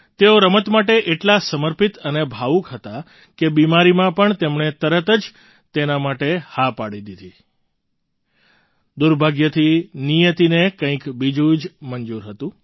તેઓ રમત માટે એટલા સમર્પિત અને ભાવુક હતા કે બીમારીમાં પણ તેમણે તરત જ તેના માટે હા પાડી દીધી દુર્ભાગ્યથી નિયતિને કંઈક બીજું જ મંજૂર હતું